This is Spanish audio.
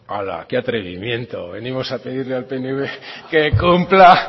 ala qué atrevimiento venimos a pedirle al pnv que cumpla